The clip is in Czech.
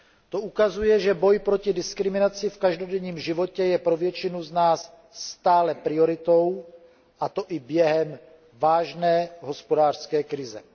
To ukazuje, že boj proti diskriminaci v každodenním životě je pro většinu z nás stále prioritou, a to i během vážné hospodářské krize.